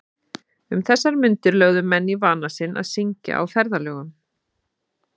Um þessar mundir lögðu menn í vana sinn að syngja á ferðalögum.